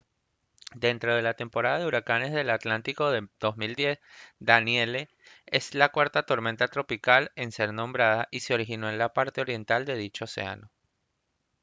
dentro de la temporada de huracanes del atlántico de 2010 danielle es la cuarta tormenta tropical en ser nombrada y se originó en la parte oriental de dicho océano